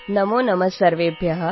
radio Unity ninety F